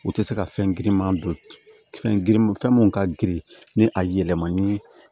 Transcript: U tɛ se ka fɛn girinman don fɛn girin fɛn mun ka girin ni a yɛlɛmani